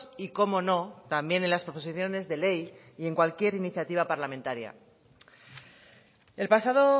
y cómo no también en las proposiciones de ley y en cualquier iniciativa parlamentaria el pasado